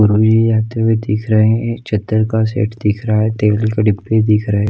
आते हुए दिख रहे हैं एक चद्दर का सेट दिख रहा है तेल के डब्बे दिख रहे--